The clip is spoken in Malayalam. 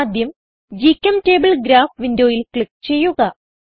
ആദ്യം ഗ്ചെംറ്റബിൾ ഗ്രാഫ് വിൻഡോയിൽ ക്ലിക്ക് ചെയ്യുക